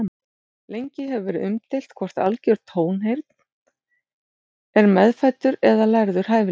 Lengi hefur verið umdeilt hvort algjör tónheyrn er meðfæddur eða lærður hæfileiki.